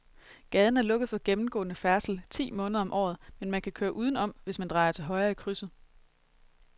Gaden er lukket for gennemgående færdsel ti måneder om året, men man kan køre udenom, hvis man drejer til højre i krydset.